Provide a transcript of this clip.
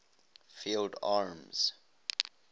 field armies